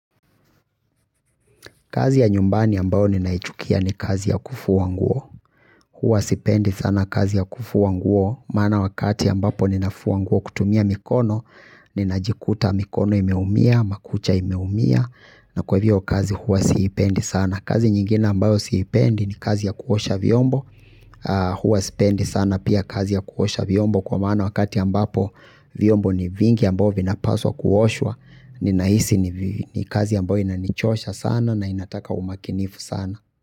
Kazi ya nyumbani ambayo ninaichukia ni kazi ya kufua nguo. Huwa sipendi sana kazi ya kufua nguo. Maana wakati ambapo ninafua nguo kutumia mikono, ninajikuta mikono imeumia, makucha imeumia, na kwa hivyo kazi huwa siipendi sana. Kazi nyingina ambayo siipendi ni kazi ya kuosha vyombo. Huwa sipendi sana pia kazi ya kuosha vyombo. Kwa maana wakati ambapo vyombo ni vingi ambavyo vinapaswa kuoshwa. Ninahisi ni kazi ambayo inanichosha sana na inataka umakinifu sana.